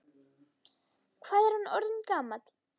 Hvað er hann orðinn gamall?